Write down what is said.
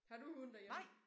Har du hund derhjemme